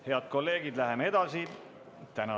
Head kolleegid, läheme edasi!